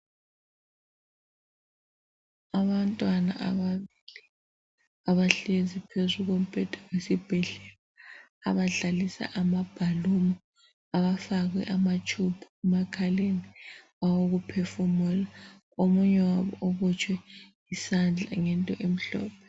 Abantwana ababili abahlezi phezu kombheda yesibhedlela abadlalisa amabhaluni bafakwe amatshubu awokuphefumula omunye wabo ubotshwe isandla ngento emhlophe.